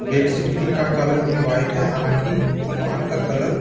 bedsheet भी का colour भी व्हाइट है हालांकि दीवार का कलर --